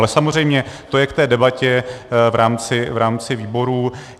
Ale samozřejmě to je k té debatě v rámci výborů.